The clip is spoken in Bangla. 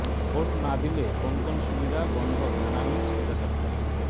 ভোট না দিলে কোন কোন সুবিধা বন্ধ জানালেন সোজা সাপ্টা